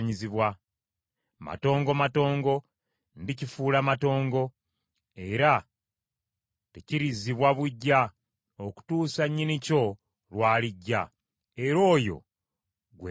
Matongo, matongo, ndikifuula matongo, era tekirizzibwa buggya okutuusa nnyinikyo lw’alijja, era oyo gwe ndikiwa.’